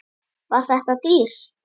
Var þetta dýrt?